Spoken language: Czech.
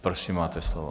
Prosím, máte slovo.